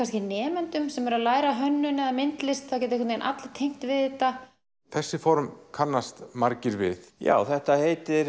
nemendum sem eru að læra hönnun eða myndlist það geta allir tengt við þetta þessi form kannast margir við já þetta heitir